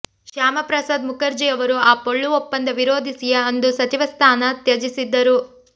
ಶ್ಯಾಮಪ್ರಸಾದ್ ಮುಖರ್ಜಿಯವರು ಆ ಪೊಳ್ಳು ಒಪ್ಪಂದ ವಿರೋಧಿಸಿಯೇ ಅಂದು ಸಚಿವ ಸ್ಥಾನ ತ್ಯಜಿಸಿದ್ದರು